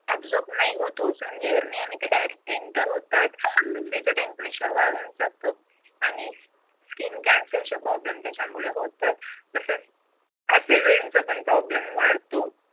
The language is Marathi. exorb नाही होतो sun layer ने आणि ते direct enter होतात पृथ्वीचे temperature वाढून जात आणि skin cancer चे problem त्याच्यामुळे होतात तसंच acid rain चा problem पण वाढतो.